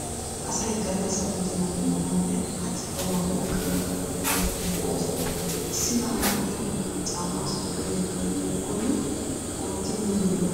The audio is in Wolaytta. Asay gallassa budeenaa demmanawunne hachchi kauwa mi aqanawu oottiyoo oosoti de'oosona. Issi na'ay ogiyaa doonan caammaa sikkiyoogee kayoykkonne ootti miyoogee lo'oba.